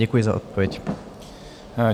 Děkuji za odpověď.